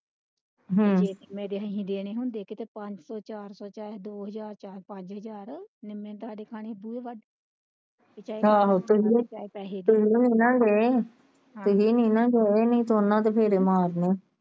ਹਮ ਜੇ ਨਿੰਮੇ ਦੇ ਅਸੀਂ ਦੇਣੇ ਹੁੰਦੇ ਕੀਤੇ ਪੰਜ ਸੋ ਚਾਰ ਸੋ ਦੋ ਹਜ਼ਾਰ ਤੁਸੀਂ ਨਹੀਂ ਨਾ ਗਏ ਨਹੀਂ ਤੇ ਓਹਨਾ ਨੇ ਫੇਰੇ ਮਾਰਨੇ।